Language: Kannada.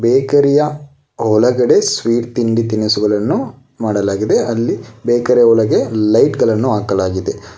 ಬೇಕರಿ ಯ ಒಳಗಡೆ ಸ್ವೀಟ್ ತಿಂಡಿ ತಿನಸುಗಳನ್ನು ಮಾಡಲಾಗಿದೆ ಅಲ್ಲಿ ಬೇಕರಿ ಒಳಗೆ ಲೈಟ್ ಗಳನ್ನು ಹಾಕಲಾಗಿದೆ.